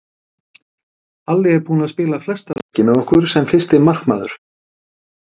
Halli er búinn að spila flesta leiki með okkur sem fyrsti markmaður.